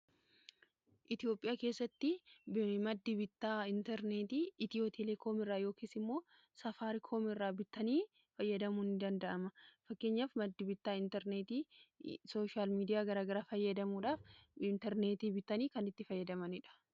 itoophiyaa keessatti maddi bittaa intarneetii itiyoo telee koom irraa yookiis immoo safaari koomiirraa bittanii fayyadamuuni danda'ama fakkeenyaaf maddi bittaa intarneetii sooshaal miidiyaa garagara fayyadamuudhaaf intarneetii bittanii kan itti fayyadamaniidha